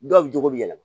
Dɔw bɛ jogo bi yɛlɛma